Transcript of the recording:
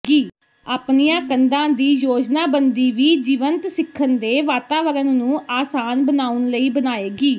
ਆਪਣੀਆਂ ਕੰਧਾਂ ਦੀ ਯੋਜਨਾਬੰਦੀ ਵੀ ਜੀਵੰਤ ਸਿੱਖਣ ਦੇ ਵਾਤਾਵਰਣ ਨੂੰ ਆਸਾਨ ਬਣਾਉਣ ਲਈ ਬਣਾਏਗੀ